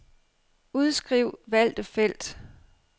Udskriv valgte felt.